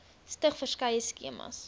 stig verskeie skemas